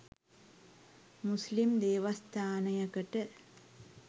මුස්ලිම් දේවස්ථානයකට